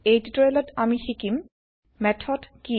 এই টিটোৰিয়েল ত আমি শিকিম মেথড কি